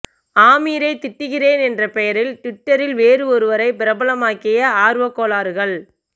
ஆமீரை திட்டுகிறேன் என்ற பெயரில் ட்விட்டரில் வேறு ஒருவரை பிரபலமாக்கிய ஆர்வக்கோளாறுகள்